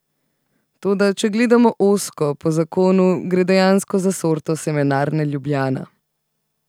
Toda če gledamo ozko, po zakonu, gre dejansko za sorto Semenarne Ljubljana.